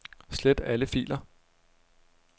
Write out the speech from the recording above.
Slet alle filer.